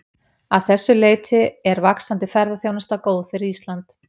Að þessu leyti er vaxandi ferðaþjónusta góð fyrir Ísland.